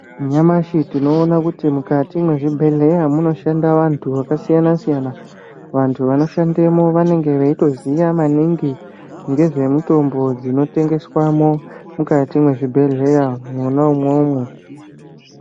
Nyamashi tinoona kuti mukati mezvibhedhleya ,munoshanda vantu vakasiyana-siyana. Vantu vanoshandemo, vanenge veyitoziya maningi ngezvemutombo dzinotengeswamo mukati mezvibhedhleya mona imomo.